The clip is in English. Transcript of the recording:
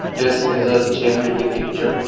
this is a gym in the picture.